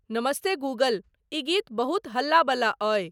नमस्तेगूगल ई गीत बहुते हल्ला बला आई